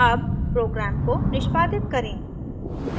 अब program को निष्पादित करें